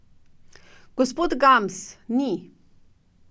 Gospod Gams, ni.